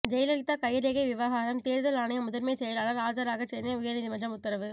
ஜெயலலிதா கைரேகை விவகாரம் தேர்தல் ஆணைய முதன்மை செயலாளர் ஆஜராக சென்னை உயர்நீதிமன்றம் உத்தரவு